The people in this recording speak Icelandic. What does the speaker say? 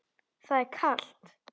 Það er kalt.